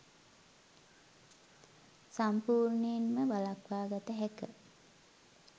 සම්පූර්ණයෙන්ම වලක්වා ගත හැක.